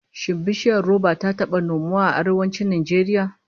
Shin bishiyar roba ta taba nomuwa a Arewacin Najeriya?